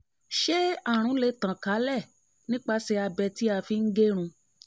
ṣé àrùn lè ṣé àrùn lè tàn kálẹ̀ nípasẹ̀ abẹ tí a fi ń gẹrun?